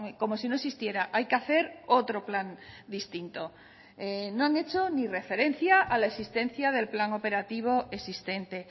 como si no existiera hay que hacer otro plan distinto no han hecho ni referencia a la existencia del plan operativo existente